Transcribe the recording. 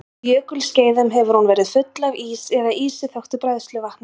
Á jökulskeiðum hefur hún verið full af ís eða ísi þöktu bræðsluvatni.